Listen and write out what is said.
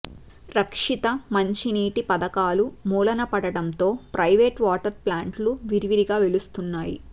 రక్షిత మంచినీటి పథకాలు మూలనపడడంతో ప్రైవేటు వాటర్ ప్లాంట్లు విరివిగా వెలుస్తున్నాయి